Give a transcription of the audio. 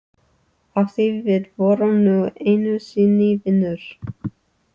Af því við vorum nú einu sinni vinir.